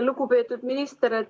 Lugupeetud minister!